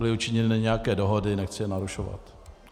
Byly učiněny nějaké dohody, nechci je narušovat.